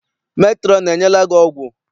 Metrọn enyela gị ọgwụ?